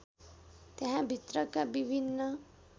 त्यहाँभित्रका विभिन्न